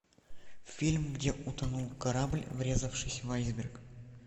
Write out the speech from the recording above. фильм где утонул корабль врезавшись в айсберг